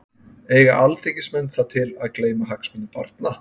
Eiga alþingismenn það til að gleyma hagsmunum barna?